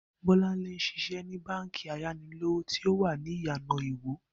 Bó̩láńlé ń s̩is̩é ní báǹkì ayanilówós̩òwò tí ó wà ní Ìyànà Iwó